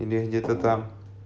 или где то там